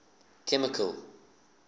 chemical